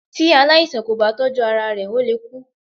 Tí aláìsàn kò bá tọ́jú ara rẹ ó lè kú.